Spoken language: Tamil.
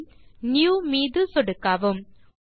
பைல் ஜிடிஜிடி Newமீது சொடுக்கவும்